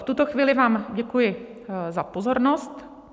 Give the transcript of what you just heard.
V tuto chvíli vám děkuji za pozornost.